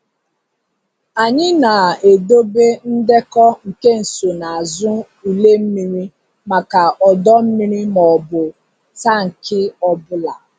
Anyị na-edobe ndekọ nke nsonaazụ ule mmiri maka ọdọ mmiri maọbụ tank ọ bụla.